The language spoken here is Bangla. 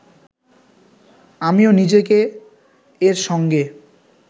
আমিও নিজেকে এর সঙ্গে